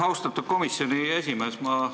Austatud komisjoni esimees!